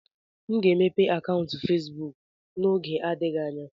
M ga-emepe akaụntụ Facebook n'oge adịghị anya.